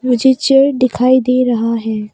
मुझे चेयर दिखाई दे रहा है।